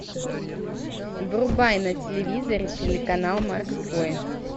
врубай на телевизоре телеканал морской